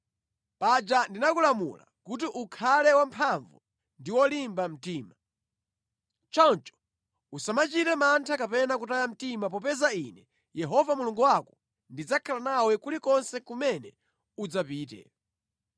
Paja ndinakulamula kuti ukhale wamphamvu ndi wolimba mtima. Choncho usamachite mantha kapena kutaya mtima popeza Ine Yehova Mulungu wako ndidzakhala nawe kulikonse kumene udzapite.”